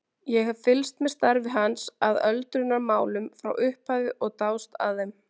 Ég hef fylgst með starfi hans að öldrunarmálum frá upphafi og dáðst að þeim.